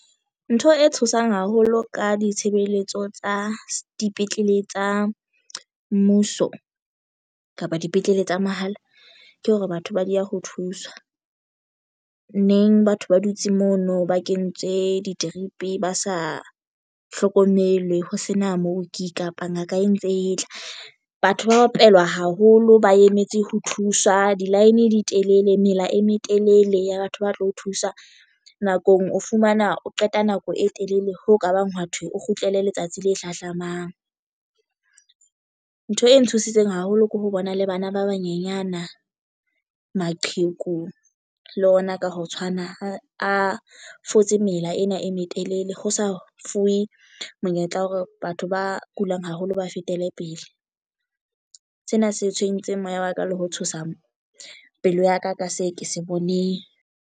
Ntho e tshosang haholo ka ditshebeletso tsa dipetlele tsa mmuso kapa dipetlele tsa mahala ke hore batho ba dieha ho thuswa neng. Mme batho ba dutse mono ba kentswe di-drip ba sa hlokomelwe ho sena mooki kapo ngaka e ntse e tla. Batho ba opelwa haholo ba emetse ho thuswa di line di telele. Mela e metelele ya batho ba tlo o thusa nakong o fumana o qeta nako e telele ho ka bang hwa thwe o kgutlele letsatsi le hlahlamang. Ntho e ntshositseng haholo ke ho bona le bana ba banyenyana maqheku le ona ka ho tshwana a fotse mela ena e metelele ho sa fuwe monyetla wa hore batho ba kulang haholo ba fetele pele. Sena se tshwentseng moya wa ka le ho tshosa pelo ya ka ka se ke se boneng.